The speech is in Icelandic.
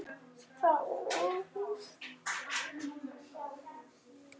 Það er óvíst.